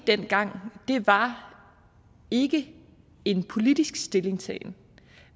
dengang var ikke en politisk stillingtagen